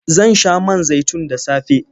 Zan sha man zaitun da safe.